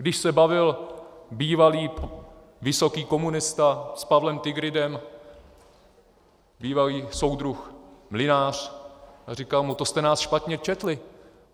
Když se bavil bývalý vysoký komunista s Pavlem Tigridem, bývalý soudruh Mlynář, a říkal mu: To jste nás špatně četli.